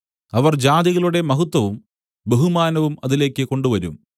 അവർ ജാതികളുടെ മഹത്വവും ബഹുമാനവും അതിലേക്ക് കൊണ്ടുവരും